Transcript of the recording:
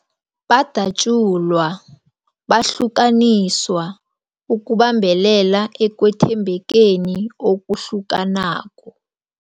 Badatjulwa, bahlukaniswa ukubambelela ekwethembekeni okuhlukanako.